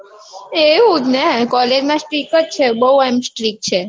એવું જ ને college માં strick જ છે બૌ એમ strick છે.